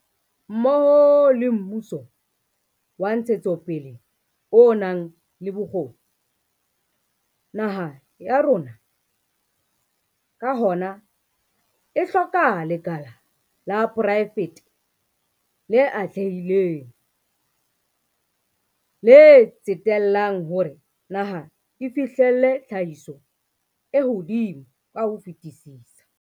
Mmoho le mmuso wa ntshetsopele o nang le bokgoni, naha ya rona, ka hona, e hloka lekala la poraefete le atlehileng, le tsetellang hore naha e fihlelle tlhahiso e hodimo ka ho fetisisa.